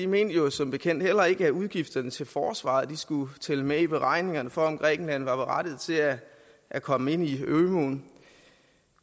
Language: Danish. mente jo som bekendt heller ikke at udgifterne til forsvaret skulle tælle med i beregningerne for om grækenland var berettiget til at at komme ind i ømuen